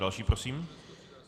Další prosím.